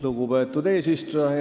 Lugupeetud eesistuja!